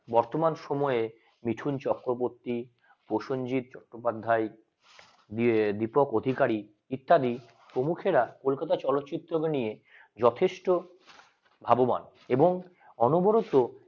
বর্তমান সময়ে মিঠুন চক্রবর্তী প্রসেনজিৎ চট্টোপাধ্যায় দিয়ে দীপক অধিকারী ইত্যাদি প্রমুখেরা কোলকাতার চলো চিত্রকে নিয়ে যথেষ্ট ভাববান এবং অনবরত